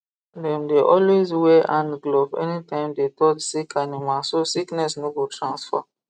dem dey always wear hand glove anytime dem dey touch sick animal so sickness no go transfer